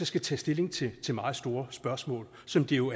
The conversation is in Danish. skal tage stilling til til meget store spørgsmål som det jo